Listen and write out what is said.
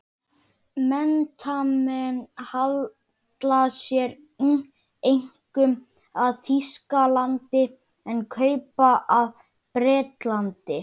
Menntamenn halla sér einkum að Þýskalandi, en kaupmenn að Bretlandi.